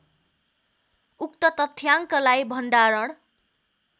ऊक्त तथ्याङ्कलाई भण्डारण